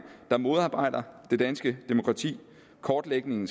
der modarbejder det danske demokrati kortlægningen